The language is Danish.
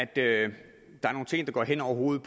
det er nogle